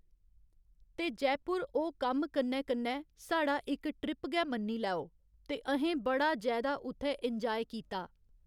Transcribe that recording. ते जयपुर ओह् कम्म कन्नै कन्नै साढ़ा इक ट्रिप गै मन्नी लैओ ते अ'हें बड़ा जैदा उत्थै एन्जाय कीता।